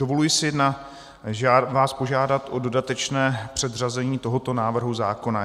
Dovoluji si vás požádat o dodatečné předřazení tohoto návrhu zákona.